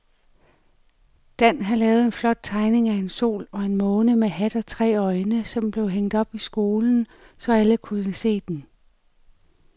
Dan havde lavet en flot tegning af en sol og en måne med hat og tre øjne, som blev hængt op i skolen, så alle kunne se den.